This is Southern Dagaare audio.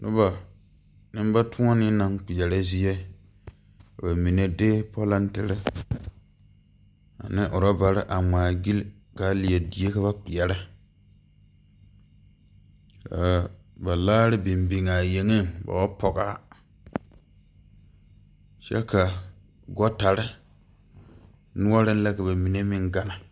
Nobɔ neŋbatoɔnee naŋ kpeɛrɛ zie ka ba mine de polɔntire ane rɔbarre a ngmaagyile kaa leɛ die ka ba kpeɛrɛ kaa ba laare biŋ biŋaa a yeŋeŋ ba wa pɔgaa kyɛ ka gɔɔtare noɔreŋ la ka ba mine meŋ ganna.